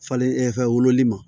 Falen fɛn wololi ma